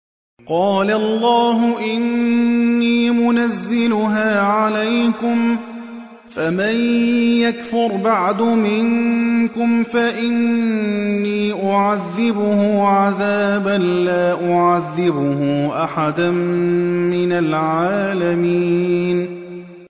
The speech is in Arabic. قَالَ اللَّهُ إِنِّي مُنَزِّلُهَا عَلَيْكُمْ ۖ فَمَن يَكْفُرْ بَعْدُ مِنكُمْ فَإِنِّي أُعَذِّبُهُ عَذَابًا لَّا أُعَذِّبُهُ أَحَدًا مِّنَ الْعَالَمِينَ